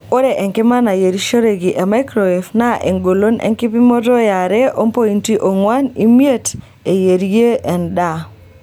Ore enkima nayierishoreki e maikrowef naa engolon enkipimoto e are ompointi ong'wan imiet eyierie endaa.